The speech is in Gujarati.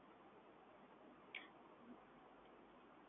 તમારે કોઈ એક ચાર્જીસ નથી લગતા તમારે કોઈ લિમિત નથી કરીશું,